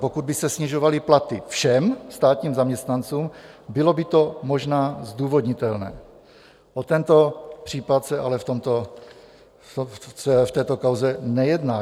Pokud by se snižovaly platy všem státním zaměstnancům, bylo by to možná zdůvodnitelné, o tento případ se ale v této kauze nejedná.